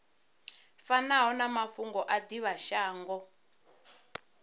fanaho na mafhungo a divhashango